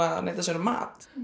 að neita sér um mat